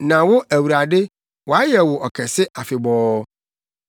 Na wo Awurade, wɔayɛ wo ɔkɛse afebɔɔ.